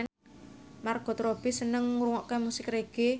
Margot Robbie seneng ngrungokne musik reggae